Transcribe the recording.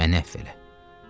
Məni əfv elə.